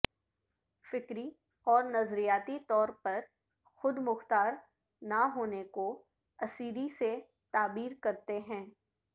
فکری اور نظریاتی طور پر خودمختار نہ ہونے کو اسیری سے تعبیر کرتے ہیں